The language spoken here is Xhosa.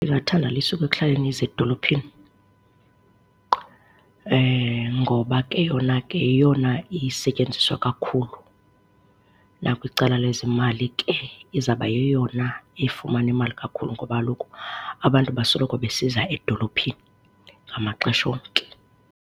Ndingathanda lisuke ekuhlaleni lize edolophini ngoba ke yona ke yeyona isetyenziswa kakhulu, nakwicala lezemali ke izawuba yeyona ifumana imali kakhulu ngoba kaloku abantu basoloko besiza edolophini ngamaxesha onke.